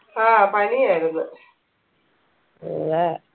ആ പണി ആയിരുന്ന്